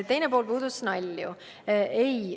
Teine pool puudutas nalju.